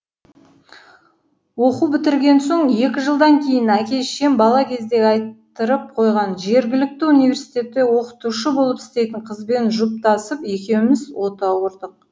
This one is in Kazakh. оқу бітірген соң екі жылдан кейін әке шешем бала кезде айттырып қойған жергілікті университетте оқытушы болып істейтін қызбен жұптасып екеуіміз отау құрдық